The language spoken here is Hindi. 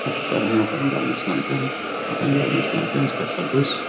लगता है यहाँ पंजाब नेशनल बैंक है और पंजाब नेशनल बैंक का सर्विस --